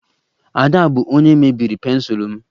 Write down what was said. Ada bụ onye mebiri pensụl m